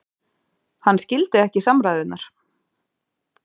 Hann skildi ekki samræðurnar.